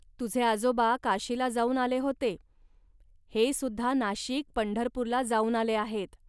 तुझे आजोबा काशीला जाऊन आले होते. हे सुद्धा नाशिक, पंढरपूरला जाऊन आले आहेत